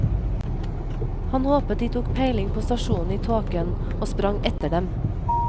Han håpet de tok peiling på stasjonen i tåken, og sprang etter dem.